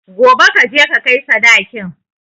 Gobe kaje ka kai sadakin